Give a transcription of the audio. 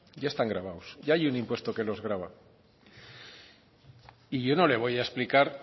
ya están gravados ya hay un impuesto que los grava y yo no le voy a explicar